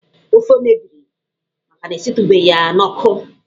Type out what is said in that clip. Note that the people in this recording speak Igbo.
Ofe mebiri maka na esitụghị ya n'ọkụ